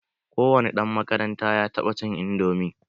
Ko wani ɗan makaranta ya taɓa cin indomi.